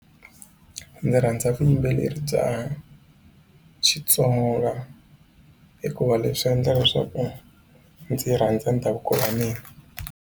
Ndzi rhandza vuyimbeleri bya Xitsonga hikuva leswi endla leswaku ndzi rhandza ndhavuko wa mina.